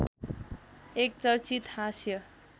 एक चर्चित हाँस्य